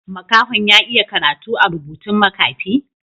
Makaho'n ya iya karatu a'rubutun makafi?